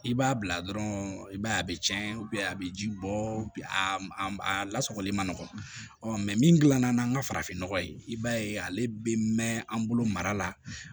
I b'a bila dɔrɔn i b'a ye a bɛ tiɲɛ a bɛ ji bɔ a lasagoli manɔgɔn mɛ min dilanna n'an ka farafin nɔgɔ ye i b'a ye ale bɛ mɛn an bolo mara la